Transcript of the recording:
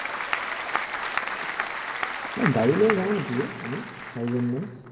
নে গাড়ী লৈ যাওঁ নেকি হে আমি চাৰিজন মান